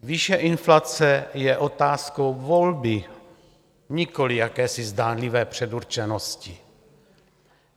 Výše inflace je otázkou volby, nikoli jakési zdánlivé předurčenosti.